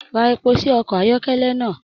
Ra epo sí ọkọ ayọkẹlẹ náà.